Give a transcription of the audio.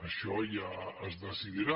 això ja es decidirà